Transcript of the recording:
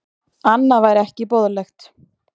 Annað væri ekki boðlegt